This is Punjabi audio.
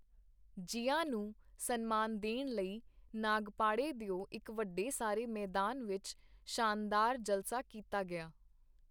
ਜ਼ਿਆ ਨੂੰ ਸਨਮਾਨ ਦੇਣ ਲਈ ਨਾਗਪਾੜੇ ਦਿਓ ਇਕ ਵੱਡੇ ਸਾਰੇ ਮੈਦਾਨ ਵਿਚ ਸ਼ਾਨਦਾਰ ਜਲਸਾ ਕੀਤਾ ਗਿਆ.